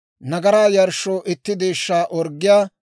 nagaraa yarshshoo itti deeshshaa orggiyaa,